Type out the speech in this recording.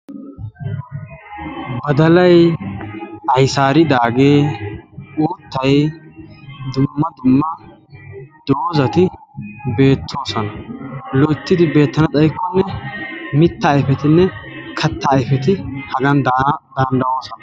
badalay ayssaridaage uuttay dumma dumma doozati beettoosona, loyttidi beetana xaykkonne mitta ayppetinne kattaa ayppeti hagan daana danddayoosona